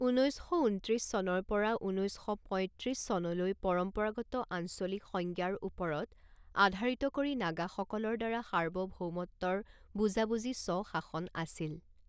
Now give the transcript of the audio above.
ঊনৈছ শ ঊনত্ৰিছ চনৰ পৰা ঊনৈছ শ পঁইত্ৰিছ চনলৈ পৰম্পৰাগত আঞ্চলিক সংজ্ঞাৰ ওপৰত আধাৰিত কৰি নাগাসকলৰ দ্বাৰা সাৰ্বভৌমত্বৰ বুজাবুজি স্ব শাসন আছিল।